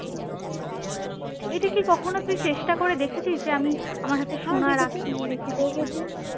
এটাকি কখনো তুই চেষ্টা করে দেখছিস যে আমি আমার হাতে সোনা রাখি দেখেছি